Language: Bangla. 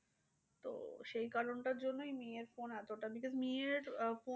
তো সেই কারণটার জন্যই নিয়ের phone এতটা because নিয়ের আহ